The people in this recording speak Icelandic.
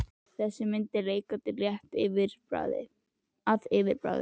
Þessi mynd er leikandi létt að yfirbragði.